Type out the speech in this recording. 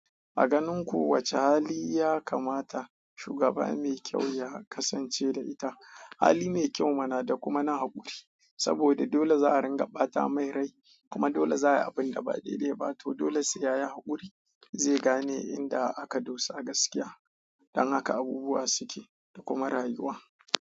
A ganin ku wace hali ya kamata shugaba mai kyau ya kasance da ita hali mai kyau mana da kuma na haƙuri saboda dole za a ringa ɓata mai rai kuma dole za a yi abin da ba daidai ba to dole sai ya yi haƙuri zai gane inda aka dosa gaskiya. Dan haka abubuwa suke da kuma rayuwa.